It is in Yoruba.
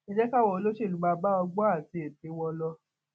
ẹ jẹ káwọn olóṣèlú máa bá ọgbọn àti ète wọn lọ